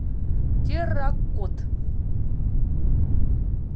терракот